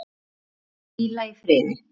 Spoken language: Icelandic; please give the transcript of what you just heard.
Megi hann hvíla í friði.